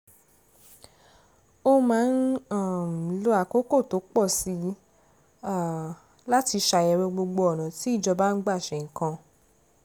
ó máa ń um lo àkókò tó pọ̀ sí um i láti ṣàyẹ̀wò gbogbo ọ̀nà tí ìjọba ń gbà ṣe nǹkan